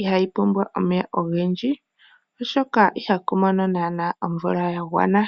ihaayi pumbwa omeya ogendji. Oshoka ihaku mono naa nawa omvula yagwana.